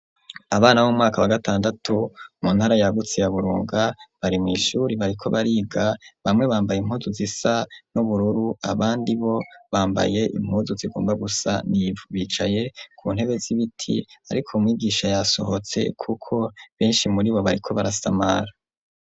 Abana b'umwaka wa gatandatu mu ntara yagutse ya Burunga bari mw'ishure bariko bariga, bamwe bambaye impuzu zisa n'ubururu abandi bo bambaye impuzu zigomba gusa n'ivu. Bicaye ku ntebe z'ibiti ariko mwigisha yasohotse kuko benshi muri bo bariko barasamara.